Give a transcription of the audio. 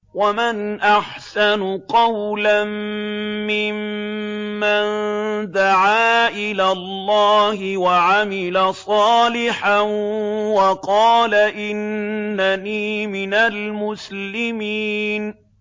وَمَنْ أَحْسَنُ قَوْلًا مِّمَّن دَعَا إِلَى اللَّهِ وَعَمِلَ صَالِحًا وَقَالَ إِنَّنِي مِنَ الْمُسْلِمِينَ